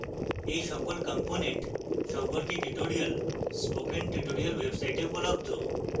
এই সকল components সম্পর্কে tutorials spoken tutorial website উপলব্ধ